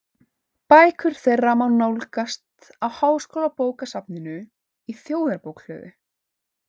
Bækur þeirra má nálgast á Háskólabókasafninu í Þjóðarbókhlöðu.